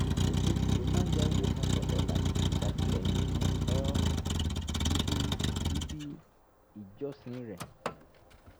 oṣooṣù ló máa ń ya owó kan sọ́tọ̀ láti fi ṣàtìlẹ́yìn fún um ibi ibi ìjọsìn rẹ̀